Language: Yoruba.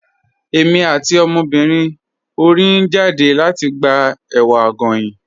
Ẹ̀mi àti ọmọbírín orí n jádẹ̀ lati gbà èwà goyín.